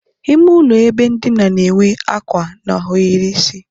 Ímé ụlọ ebe ndina n'enwe ákwà na ohiri isi